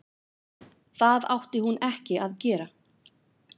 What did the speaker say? Það átti hún ekki að gera.